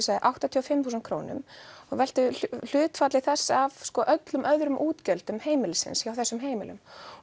áttatíu og fimm þúsund króna og veltum hlutfalli þess af öllum öðrum útgjöldum heimilsins hjá þessum heimilum